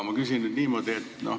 Ma küsin nüüd niimoodi.